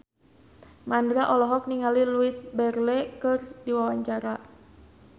Mandra olohok ningali Louise Brealey keur diwawancara